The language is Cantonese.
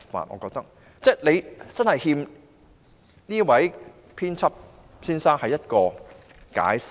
當局的確欠這位編輯馬凱先生一個解釋。